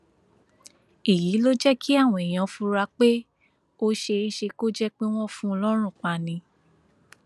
èyí ló jẹ kí àwọn èèyàn fura pé ó ṣeé ṣe kó jẹ pé wọn fún un lọrùn pa ni